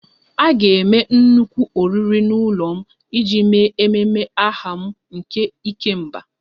A ga-eme nnukwu oriri n'ụlọ m iji mee ememe aha m nke 'ikemba'